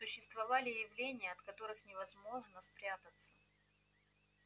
существовали явления от которых невозможно спрятаться